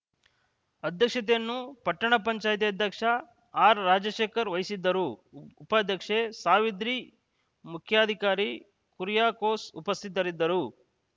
ಅಧ್ಯಕ್ಷತೆಯನ್ನು ಪಟ್ಟಣ ಪಂಚಾಯಿತಿ ಅಧ್ಯಕ್ಷ ಆರ್‌ರಾಜಶೇಖರ್‌ ವಹಿಸಿದ್ದರು ಉಪಾಧ್ಯಕ್ಷೆ ಸಾವಿತ್ರಿ ಮುಖ್ಯಾಧಿಕಾರಿ ಕುರಿಯಾಕೋಸ್‌ ಉಪಸ್ಥಿತರಿದ್ದರು